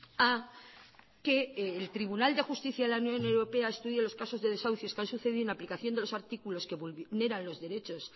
a que el tribunal de justicia de la unión europea estudia los casos de desahucios que han sucedido en aplicación de los artículos que vulneran los derechos